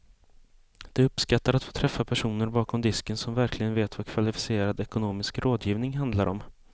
De uppskattar att få träffa personer bakom disken som verkligen vet vad kvalificerad ekonomisk rådgivning handlar om.